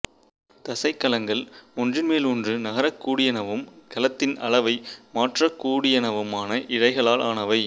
தசைக் கலங்கள் ஒன்றின்மேல் ஒன்று நகரக்கூடியனவும் கலத்தின் அளவை மாற்றக்கூடியனவுமான இழைகளால் ஆனவை